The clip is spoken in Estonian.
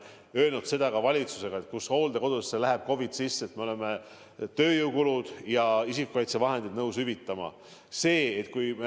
Ja me oleme seda valitsuses öelnud, et kui hooldekodusse läheb COVID sisse, siis me oleme tööjõukulud ja isikukaitsevahendite maksumuse nõus hüvitama.